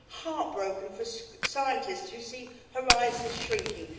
heartbroken for scientists who see horizons shrinking